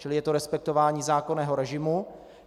Čili je to respektování zákonného režimu.